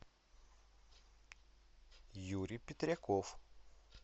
юрий петряков